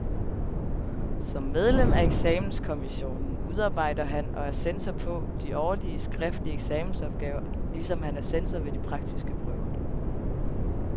Som medlem af eksamenskommissionen udarbejder han, og er censor på, de årlige, skriftlige eksamensopgaver, ligesom han er censor ved de praktiske prøver.